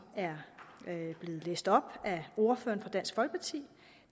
er blevet læst op af ordføreren for dansk folkeparti